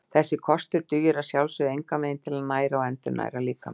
Þessi kostur dugir að sjálfsögðu engan veginn til að næra og endurnæra líkamann.